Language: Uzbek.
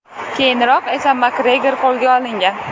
Keyinroq esa Makgregor qo‘lga olingan.